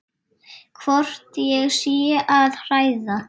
Hvort ég sé að hræða.